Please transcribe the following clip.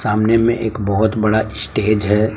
सामने में एक बहोत बड़ा स्टेज है।